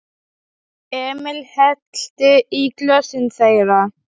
Emil hellti í glösin þeirra.